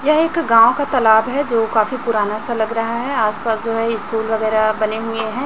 यह एक गांव का तलाब है जो काफी पुराना सा लग रहा है आस पास जो है स्कूल वगैरह बने हुए हैं।